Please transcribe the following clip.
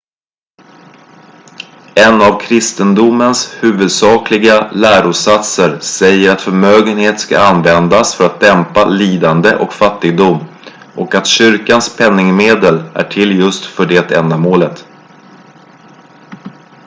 en av kristendomens huvudsakliga lärosatser säger att förmögenhet ska användas för att dämpa lidande och fattigdom och att kyrkans penningmedel är till för just det ändamålet